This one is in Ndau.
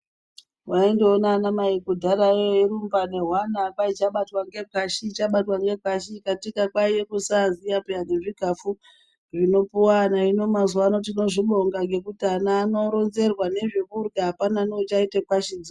Waindoona ana mai kurumba nehwana kwanzi chabatwa nge kwashi chabatwa ngekwashi katika kwive kusaziva peya nezvikafu zvinopiwa vana hino mazuva ano tinozvibonga ngekuti ana anoronzerwa nezvekurya hapana neachaita kwashi idzi.